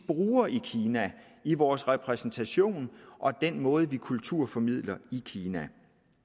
bruger i kina i vores repræsentation og i den måde vi kulturformidler i kina